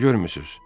Nə görmüsüz?